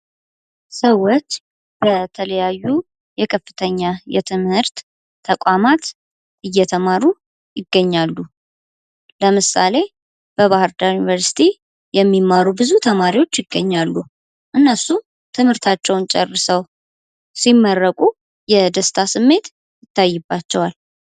ሰዎች በተለያዩ የከፍተኛ የትምህርት ተቋማት እየተማሩ ይገኛሉ:: ለምሳሌ በባህር ዳር ዩኒቨርስቲ የሚማሩ ብዙ ተማሪዎች ይገኛሉ እነሱም ትምህርታቸውን ጨርሰው ሲመረቁ የደስታ ስሜት ይታይባቸዋል ::